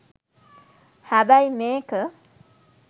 හැබැයි මේක